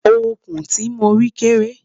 òkun tí mọ rí kéré